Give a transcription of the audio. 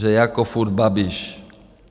Že jako furt Babiš?